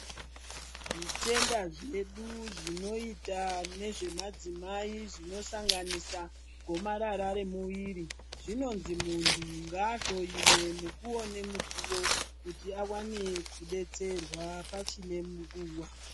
Zvitenda zvedu zvinoita nezvemadzimai zvinosanganisa gomarara remuviri. Zvinonzi munhu ngaahloyiwe mukuwo nemukuwo kuti awane kudetserwa pachine nguva.